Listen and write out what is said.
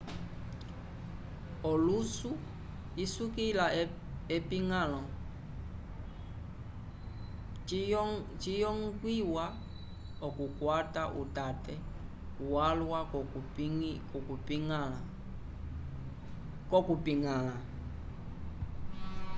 olusu isukila epiñgãlo ciyongwiwa okukwata utate walwa k'okuyipiñgala